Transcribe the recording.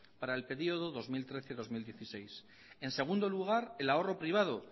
para el período dos mil trece dos mil dieciséis en segundo lugar el ahorro privado